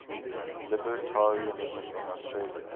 libertarianism in austria